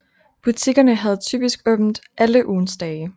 Butikkerne havde typisk åbent alle ugens dage